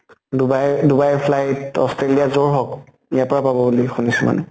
Dubai দুবাইৰ flight australia যʼত হওঁক, এয়াৰ পৰা পাব বুলি শুনিছো মানে।